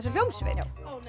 hljómsveit já